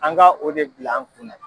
An ka o de bila an kunna.